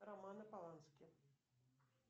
романы полански